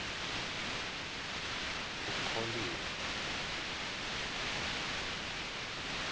ukholiwe